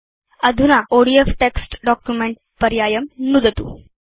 अधुना ODF text document पर्यायं नुदतु